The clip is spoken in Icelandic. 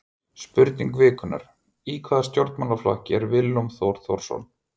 Spurning vikunnar: Í hvaða stjórnmálaflokki er Willum Þór Þórsson?